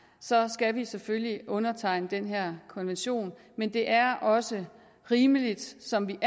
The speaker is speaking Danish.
så skal vi selvfølgelig undertegne den her konvention men det er også rimeligt som